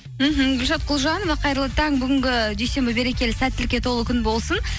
мхм гүлшат құлжанова қайырлы таң бүгінгі дүйсенбі берекелі сәтілікке толы күн болсын